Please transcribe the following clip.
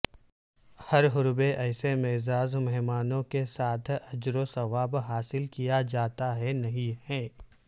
ہر حربے ایسے معزز مہمانوں کے ساتھ اجروثواب حاصل کیا جاتا ہے نہیں ہے